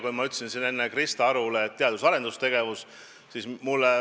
Enne ma ütlesin siin Krista Arule aitäh teadus- ja arendustegevuse teema tõstatamise eest.